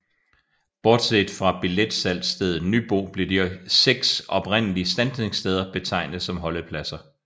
Bortset fra billetsalgsstedet Nybo blev de øvrige 6 oprindelige standsningssteder betegnet som holdepladser